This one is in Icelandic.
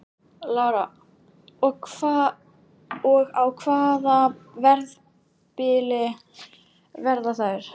Lára: Og á hvaða verðbili verða þær?